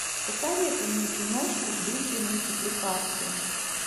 посоветуй мне киношку в духе мультипликации